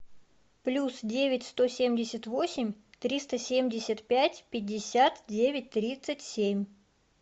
плюс девять сто семьдесят восемь триста семьдесят пять пятьдесят девять тридцать семь